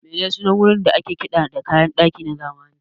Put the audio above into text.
Me sunan wurin da ake kiɗa da kayan kiɗa na zamani?